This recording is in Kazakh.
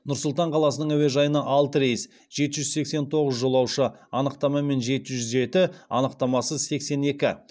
нұр сұлтан қаласының әуежайына алты рейс жеті жүз сексен тоғыз жолаушы анықтамамен жеті жүз жеті анықтамасыз сексен екі